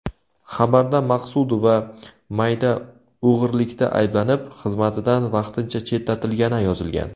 Xabarda Maqsudova mayda o‘g‘irlikda ayblanib, xizmatidan vaqtincha chetlatilgani yozilgan.